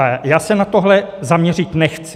A já se na tohle zaměřit nechci.